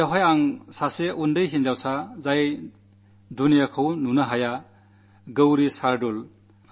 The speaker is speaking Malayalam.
അന്ന് വളരെയേറെ റെക്കാഡുകളാണ് സ്ഥാപിക്കപ്പെട്ടത്